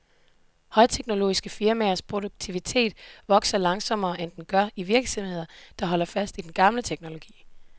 Højteknologiske firmaers produktivitet vokser langsommere, end den gør i virksomheder, der holder fast i den gamle teknologi.